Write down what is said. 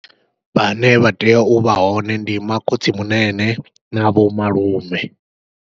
Vhane vha tea uvha hone ndi makhotsimunene na vho malume.